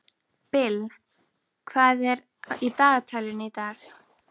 Bill, hvað er í dagatalinu í dag?